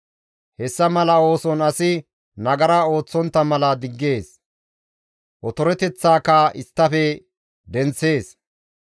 Hessa mala ooson asi nagara ooththontta mala diggees; otoreteththaaka isttafe denththees.